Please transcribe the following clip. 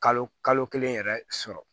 Kalo kalo kelen yɛrɛ sɔrɔ